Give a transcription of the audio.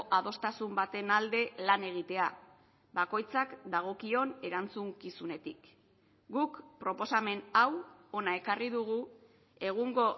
adostasun baten alde lan egitea bakoitzak dagokion erantzukizunetik guk proposamen hau hona ekarri dugu egungo